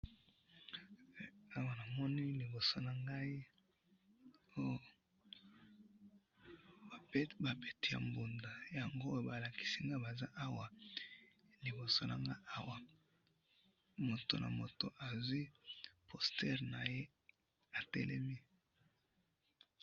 awa namoni liboso nangai ba beti ya mbunda yango balakisi ngai baza awa liboso nanga awa moto na moto azui poster naye atelemi